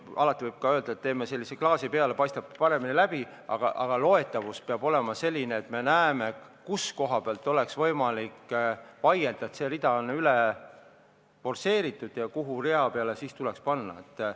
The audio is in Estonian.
Alati võib öelda, et teeme klaasi peale, siis paistab paremini läbi, aga loetavus peab olema selline, et me näeme, kus kohas oleks võimalik vaielda, et see rida on üle forsseeritud ja kuhu rea peale siis tuleks raha panna.